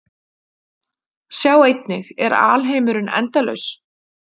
Sjá einnig: Er alheimurinn endalaus?